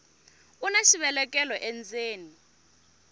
una xivelekelo endzeni